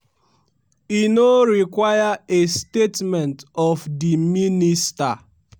e no require a statement of di minister.